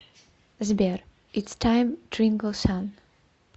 сбер итс тайм трингл сан